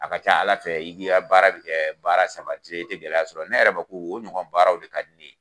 A ka ca ala fɛ i ki ka baara bɛ kɛ baara sabatilen yen i tɛ gɛlɛya' sɔrɔ ne yɛrɛ bɛ ko ko o ɲɔgɔn baaraw de ka di ne ye.